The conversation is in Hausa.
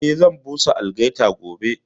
Eh, zan busa algaita gobe